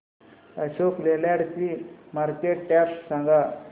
अशोक लेलँड ची market cap सांगा